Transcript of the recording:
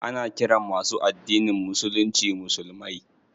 Ana ƙiran masu addinin musulunci musulmai.